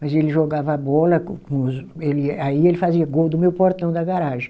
Mas ele jogava a bola com com os, aí ele fazia gol do meu portão da garagem.